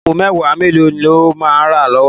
Àpó èwá méló ló má rá lòlá?